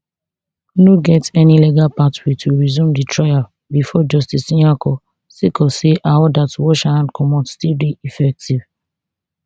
no get any legal pathway to resume di trial bifor justice nyako sake of say her order to wash her hand comot still dey effective